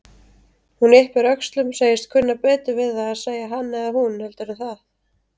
Hún yppir öxlum, segist kunna betur við að segja hann eða hún heldur en það.